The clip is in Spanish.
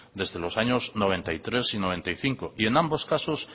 desde los años mil novecientos noventa y tres y mil novecientos noventa y cinco y en ambos casos